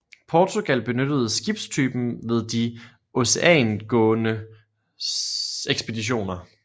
Portugal benyttede skibstypen ved de oceangående ekspeditioner